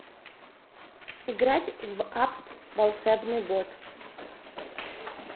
играть в апп волшебный бот